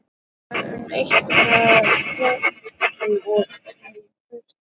Hugsar um það eitt að komast í burtu.